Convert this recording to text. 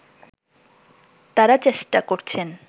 তারা চেষ্টা করছেন